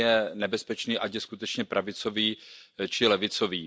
Ten je nebezpečný, ať je skutečně pravicový či levicový.